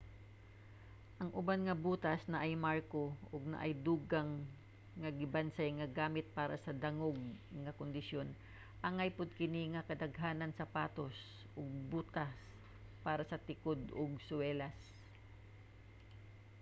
ang uban nga butas naay marko ug naay dugang nga gibansay nga gamit para sa dangog nga kondisyon angay pod kini sa kadaghanang sapatos ug butas para sa tikod ug suwelas